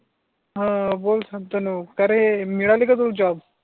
हा बोल शांतनु का रे मिळाली का तुला जॉब